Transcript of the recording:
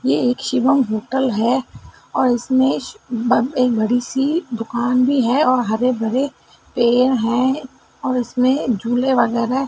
ये एक शिवम होटल है और इसमें ब एक बड़ी सी दुकान भी है और हरे भरे पेड़ हैं और उसमें झूले वगैरह--